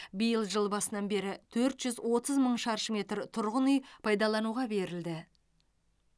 биыл жыл басынан бері төрт жүз отыз мың шаршы метр тұрғын үй пайдалануға берілді